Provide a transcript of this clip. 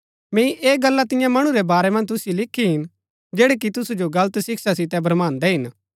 मैंई ऐह गल्ला तियां मणु रै बारै मन्ज तुसिओ लिखी हिन जैड़ै कि तुसु जो गलत शिक्षा सितै भ्रमान्‍दै हिन